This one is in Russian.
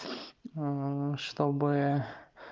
чтобы